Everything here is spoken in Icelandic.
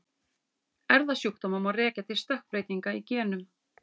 Erfðasjúkdóma má rekja til stökkbreytinga í genum.